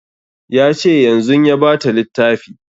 Ya ce yanzun ya ba ta littafi